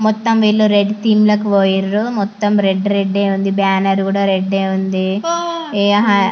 మొత్తం yellow red team లోకి పోయినారు మొత్తం రెడ్ రెడ్ ఉంది బ్యానర్ ఉంది మొత్తం--